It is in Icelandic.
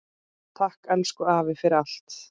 Takk, elsku afi, fyrir allt.